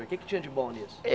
O que é que tinha de bom nisso?